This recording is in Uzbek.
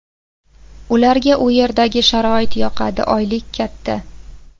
Ularga u yerdagi sharoit yoqadi, oylik katta.